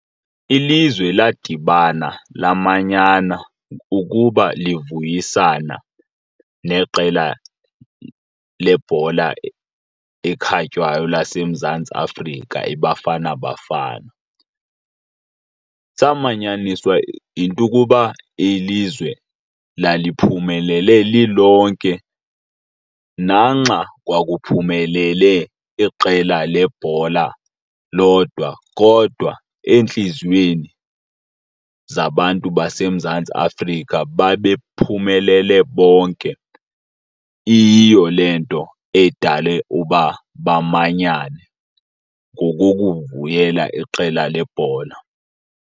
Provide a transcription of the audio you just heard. Ilizwe ladibana lamanyana ukuba livuyisana neqela lebhola ekhatywayo laseMzantsi Afrika, iBafana Bafana. Samanyaniswa yinto ukuba ilizwe laliphumelele lilonke, nanxa kwakuphumelele iqela lebhola lodwa kodwa eentliziyweni zabantu baseMzantsi Afrika babephumelele bonke. Iyiyo le nto edale uba bamanyane, ngokukuvuyela iqela lebhola.